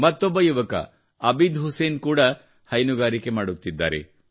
ಮತ್ತೊಬ್ಬ ಯುವಕ ಅಬಿದ್ ಹುಸೇನ್ ಕೂಡ ಹೈನುಗಾರಿಕೆ ಮಾಡುತ್ತಿದ್ದಾರೆ